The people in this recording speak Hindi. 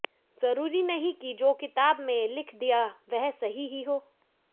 जरूरी नहीं कि जो किताब में लिख दिया वह सही ही हो